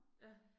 Ja